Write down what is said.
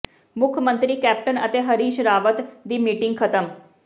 ਮੁੱਖ ਮੰਤਰੀ ਕੈਪਟਨ ਅਤੇ ਹਰੀਸ਼ ਰਾਵਤ ਦੀ ਮੀਟਿੰਗ ਖ਼ਤਮ